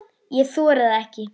Ég þori það ekki.